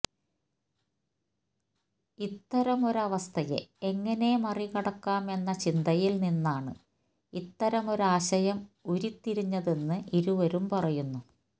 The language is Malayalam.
ഇത്തരമൊരവസ്ഥയെ ഏങ്ങനെ മറികടക്കാം എന്ന ചിന്തയില് നിന്നാണ് ഇത്തരമൊരാശയം ഉരിതിരിഞ്ഞതെന്ന് ഇരുവരും പറയുന്നു